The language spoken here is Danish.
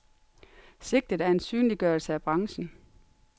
Sigtet er en synliggørelse af branchen.